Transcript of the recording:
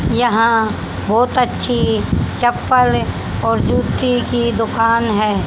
यहां बहोत अच्छी चप्पल और जूते की दुकान है।